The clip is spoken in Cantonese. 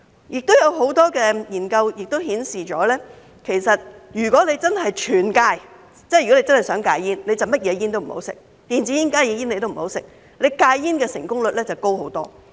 另有很多研究顯示，如果真的想戒煙，便要全面戒煙，即所有煙也不吸，電子煙、加熱煙也不要吸，這樣戒煙的成功率便高得多。